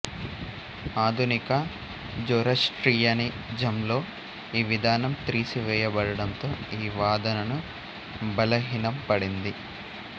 ఆధునిక జొరాస్ట్రియనిజంలో ఈ విధానం త్రీసివేయబడడంతో ఈ వాదనను బలహీనంపడింది